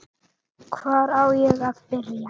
Hvar á ég að byrja!